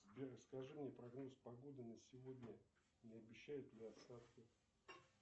сбер расскажи мне прогноз погоды на сегодня не обещают ли осадки